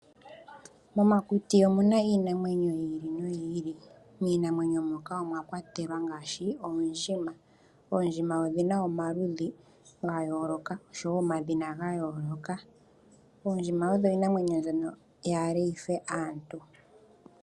Momakuti omu na iinamwenyo yi ili noyi ili, miinamwenyo moka omwa kwatelwa ngaashi oondjima. Oondjima odhi na omaludhi ga yooloka nosho wo omadhina ga yooloka. Oondjima odho iinamwenyo mbyono yaale yi fe aantu.